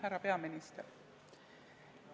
Härra peaminister!